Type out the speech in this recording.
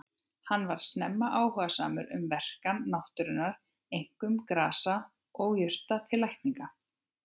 Hann varð snemma áhugasamur um verkan náttúrunnar, einkum grasa og jurta til lækninga.